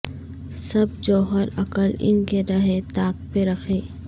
سب جوہر عقل ان کے رہے طاق پہ رکھے